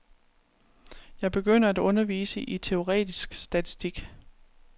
Jeg begyndte at undervise i teoretisk statistik.